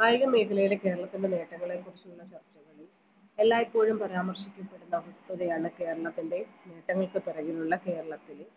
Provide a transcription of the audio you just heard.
കായിക മേഖലയുടെ കേരളത്തിൻറെ നേട്ടങ്ങളെക്കുറിച്ചുള്ള സത്യാഗതി എല്ലായ്‌പ്പോഴും പരാമർശിക്കപ്പെടുന്ന വസ്തുതയാണ് കേരളത്തിൻറെ നേട്ടങ്ങൾക്ക് പിറകിലുള്ള കേരളത്തിലെ